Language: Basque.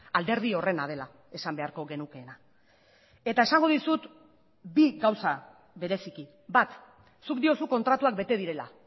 alderdi horrena dela esan beharko genukeena eta esango dizut bi gauza bereziki bat zuk diozu kontratuak bete direla